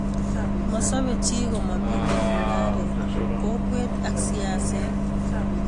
masobe chi komamito mungaret, kokwet ak siaset